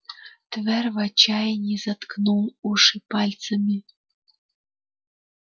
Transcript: твер в отчаянии заткнул уши пальцами